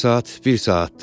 Bir saat bir saatdır.